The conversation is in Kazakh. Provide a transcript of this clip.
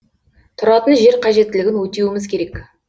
тұратын жер қажеттілігін өтеуіміз керек